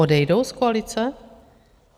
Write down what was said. Odejdou z koalice?